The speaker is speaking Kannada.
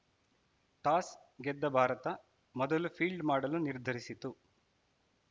ಟಾಸ್‌ ಗೆದ್ದ ಭಾರತ ಮೊದಲು ಫೀಲ್ಡ್‌ ಮಾಡಲು ನಿರ್ಧರಿಸಿತು